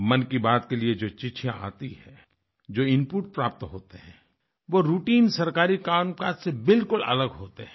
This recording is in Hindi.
मन की बात के लिए जो चिट्ठियाँ आती हैं जो इनपुट प्राप्त होते हैं वो राउटाइन सरकारी कामकाज से बिल्कुल अलग होते हैं